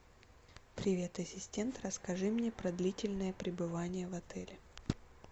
привет ассистент расскажи мне про длительное пребывание в отеле